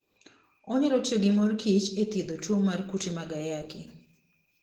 Onyalo tiyo gi mor kich e thiedho tuwo mar kute mag ayaki.